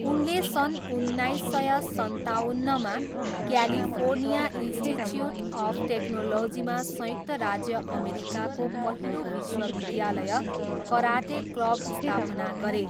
उनले सन् उन्नाइस सय सन्ताउन्नमा क्यालिफोर्निया इन्स्टिच्युट अफ टेक्नोलोजीमा संयुक्त राज्य अमेरिकाको पहिलो विश्वविद्यालय कराटे क्लब स्थापना गरे।